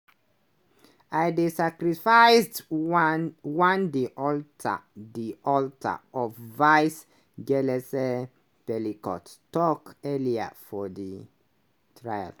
"i dey sacrificed one one di altar di altar of vice" gilese pelicot tok earlier for di trial.